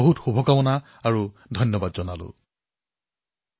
fit India মুভমেণ্টক আগুৱাই লৈ যোৱাৰ বাবে বতৰৰ ভৰপুৰ সুযোগ গ্ৰহণ কৰক